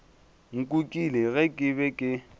nkukile ge ke be ke